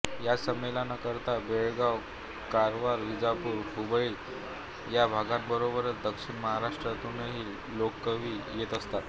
या संमेलनांकरता बेळगाव कारवार विजापूर हुबळी या भागांबरोबरच दक्षिण महाराष्ट्रातूनही लेखककवी येत असतात